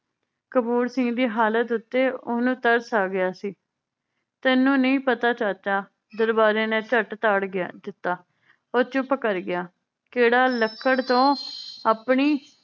ਕਪੂਰ ਸਿੰਘ ਦੀ ਹਾਲਾਤ ਉੱਤੇ ਓਹਨੂੰ ਤਰਸ ਆਗਿਆ ਸੀ ਤੈਨੂੰ ਨਈ ਪਤਾ ਚਾਚਾ ਦਰਬਾਰੇ ਨੇ ਝੱਟ ਤਾੜ ਗਿਆ ਦਿੱਤਾ ਉਹ ਚੁੱਪ ਕਰ ਗਿਆ ਕੇਹੜਾ ਲੱਕੜ ਤੋਂ ਆਪਣੀ